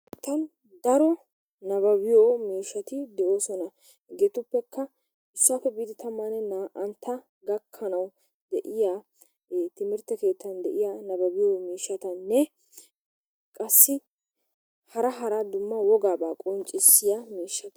Daro nabbabbiyo miishshati de'oosona, hegetuppekka issuwappe biidi tammanne naa"antta gakkanawu de'iya timmirtte keettaan de'iya nabbabbiyo miishshatanne qassi hara hara dumma wogaabaa qonccissiya miishshata.